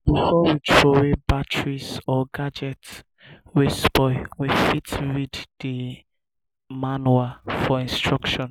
before we trowey batteries or gadget wey spoil we fit read di manual for instruction